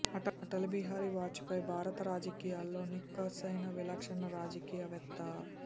Atal Bihari Vajpayee భారత రాజకీయాలలో నిఖార్సయిన విలక్షణ రాజకీయ వేత్త